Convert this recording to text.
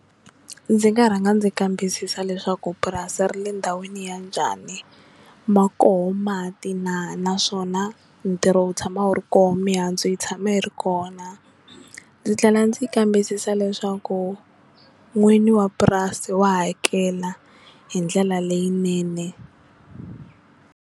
Ndzi nga rhanga ndzi kambisisa leswaku purasi ri le ndhawini ya njhani ma koho mati na naswona ntirho wu tshama wu ri koho mihandzu yi tshama yi ri koho na, ndzi tlhela ndzi kambisisa leswaku n'wini wa purasi wa hakela hi ndlela leyinene.